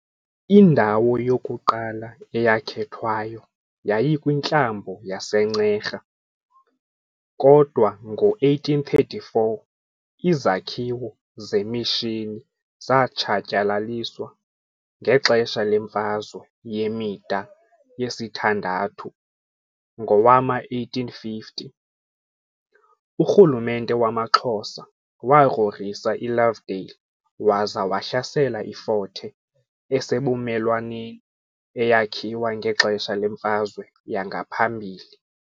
Indawo yokuqala eyakhethwayo yayikwintlambo yaseNcera, kodwa ngo-1834 izakhiwo zemishini zatshatyalaliswa ngexesha leMfazwe yemida yesithandathu . Ngowama1850, urhulumente wamaXhosa wagrogrisa iLovedale waza wahlasela iFort Hare esebumelwaneni, eyakhiwa ngexesha lemfazwe yangaphambili.